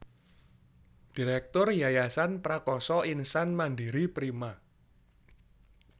Direktur Yayasan Prakasa Insan Mandiri Prima